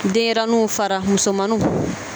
Denɲɛrɛninw fara muso manninw.